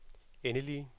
endelige